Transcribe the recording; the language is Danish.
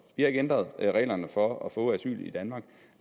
vi har ikke ændret reglerne for at få asyl i danmark